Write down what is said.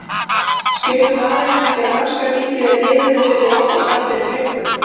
Skilur maðurinn ekki að norska ríkið er liðið undir lok og það fyrir löngu?